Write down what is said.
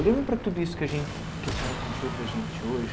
Olhando para tudo isso que a que a senhora contou para a gente hoje...